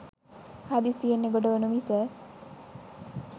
හදිසියෙන් එගොඩ වනු මිස